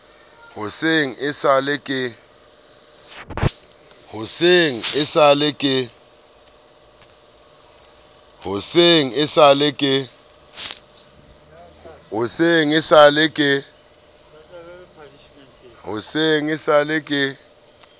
hoseng e sa le ka